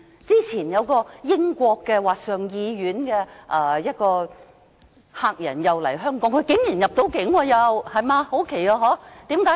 早前有一位英國上議院的客人來港，他竟然能夠入境，很奇怪，對嗎？